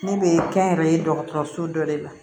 Ne bɛ kɛnyɛrɛye dɔgɔtɔrɔso dɔ de la